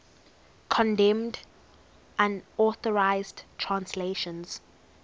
condemned unauthorized translations